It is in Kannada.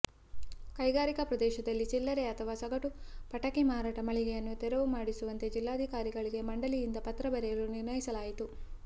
ಕೈಗಾರಿಕಾ ಪ್ರದೇಶದಲ್ಲಿ ಚಿಲ್ಲರೆ ಅಥವಾ ಸಗಟು ಪಟಾಕಿ ಮಾರಾಟ ಮಳಿಗೆಗಳನ್ನು ತೆರುವು ಮಾಡಿಸುವಂತೆ ಜಿಲ್ಲಾಧಿಕಾರಿಗಳಿಗೆ ಮಂಡಳಿಯಿಂದ ಪತ್ರ ಬರೆಯಲು ನಿರ್ಣಯಿಸಲಾಯಿತು